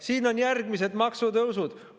Siin on järgmised maksutõusud.